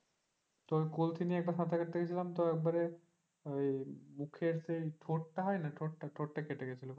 তোর কলসি নিয়ে একবার সাঁতার কাটতে গিয়েছিলাম একেবারে ওই মুখের সেই ঠোঁটটা হয় না? ঠোঁটটা কেটে গেছিল।